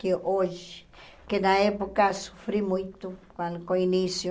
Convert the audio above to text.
Que hoje, que na época sofri muito com com o início,